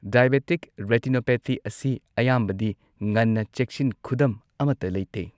Diabetic retinopathy ꯑꯁꯤ ꯑꯌꯥꯝꯕꯗꯤ ꯉꯟꯅ ꯆꯦꯛꯁꯤꯟ ꯈꯨꯗꯝ ꯑꯃꯠꯇ ꯂꯩꯇꯦ꯫